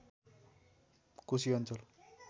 कोशी अञ्चल